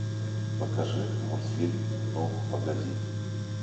покажи мультфильм ну погоди